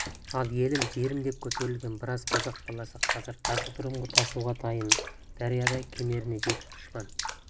ал елім жерім деп көтерілген біраз қазақ баласы қазір жазғытұрымғы тасуға дайын дариядай кемеріне жетіп дұшпан